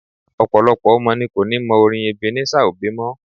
Ọ̀pọ̀lọpọ̀ ọmọ ní ko ni mọ orin Ebenezer Obey mọ́.